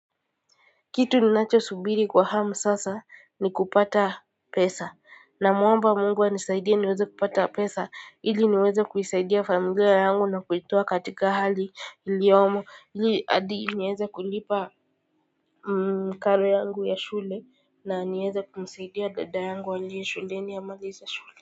Kitu ninacho subiri kwa hamu sasa ni kupata pesa na mwomba mungu anisaidie niweze kupata pesa ili niweze kuisaidia familia yangu na kuitoa katika hali iliyomo ili adi nieze kulipa karo yangu ya shule na nieze kumsaidia dada yangu aliyeshuleni amalize shule.